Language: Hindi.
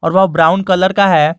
ब्राउन कलर का है।